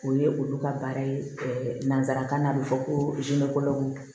O ye olu ka baara ye nanzarakan na a bɛ fɔ ko